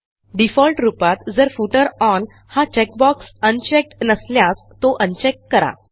default रूपात जर footer onहा चेकबॉक्स अनचेक्ड नसल्यास तो अनचेक करा